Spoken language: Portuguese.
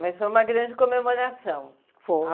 Mas foi uma grande comemoração, foi a